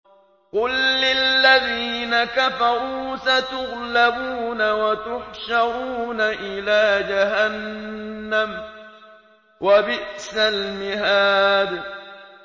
قُل لِّلَّذِينَ كَفَرُوا سَتُغْلَبُونَ وَتُحْشَرُونَ إِلَىٰ جَهَنَّمَ ۚ وَبِئْسَ الْمِهَادُ